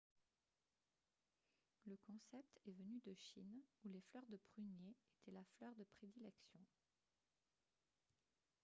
le concept est venu de chine où les fleurs de prunier étaient la fleur de prédilection